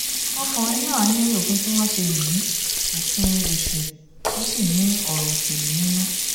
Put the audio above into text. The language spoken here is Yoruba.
ọkùnrin náà ní òfin tí wọ́n ṣe yìí òfin èṣù tó sì ní ọ̀rọ̀ òṣèlú nínú